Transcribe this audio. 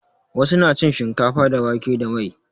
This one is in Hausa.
Wasu na cin shinkafa da wake da mai.